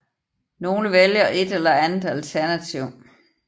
Nogle vælger et eller andet alternativ